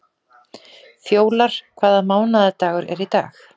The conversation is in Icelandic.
Fjólar, hvaða mánaðardagur er í dag?